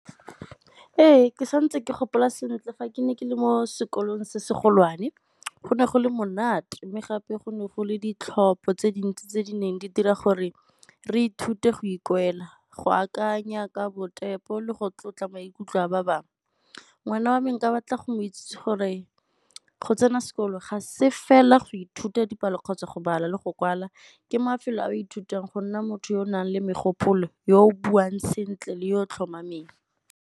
Ee, ke sa ntse ke gopola sentle fa ke ne ke le mo sekolong se se golwane, go ne go le monate mme gape go ne go le ditlhopho tse dintsi tse di neng di dira gore re ithute go , go akanya ka le go tlotla maikutlo a ba bangwe. Ngwana wa me nka batla go mo itsese gore go tsena sekolo ga se fela go ithuta dipalo kgotsa go bala le go kwala, ke mafelo a ithutang go nna motho yo o nang le megopolo yo o buang sentle le yo tlhomameng.